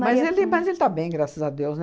Mas ele mas ele está bem, graças a Deus, né?